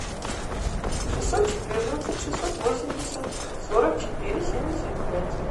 шестьсот четырнадцать шестьсот восемьдесят сорок четыре семьдесят пять